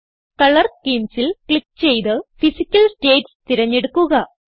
colour Schemesൽ click ചെയ്ത് physical states തിരഞ്ഞെടുക്കുക